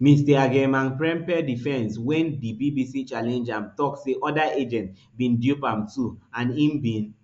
mr agyemangprempeh defence wen di bbc challenge am tok say oda agents bin dupe am too and im bin